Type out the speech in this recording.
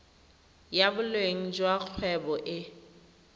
ya boleng jwa kgwebo e